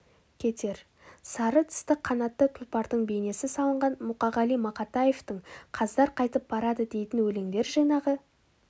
кетер сары тысты қанатты тұлпардың бейнесі салынған мұқағали мақатаевтың қаздар қайтып барады дейтін өлеңдер жинағы